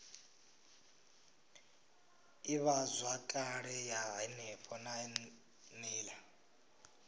ivhazwakale ya henefho na nila